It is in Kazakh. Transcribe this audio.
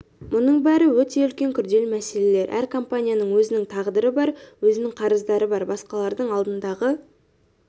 мұның бәрі өте үлкен күрделі мәселелер әр компанияның өзінің тағдыры бар өзінің қарыздары бар басқалардың алдындағы